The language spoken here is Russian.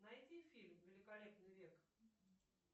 найди фильм великолепный век